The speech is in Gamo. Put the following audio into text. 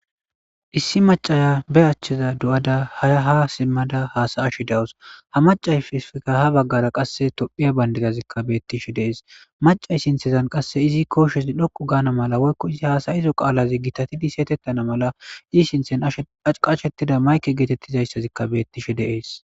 Issi macca ba achchaa doo7ada ha simmada hasa7ashe de7awus; ha maccayseeppekka ha baggaara qassi toophphiya banddira ziqqa beeththishe de7ees; macce sinththazan qassi izi kooshazi dhoqqu gaana mala woykko izi haasayido qaala githathidi siyetheththana mala i sinththen qasheththida mayke geetheththizazayse beeththishe de7ees.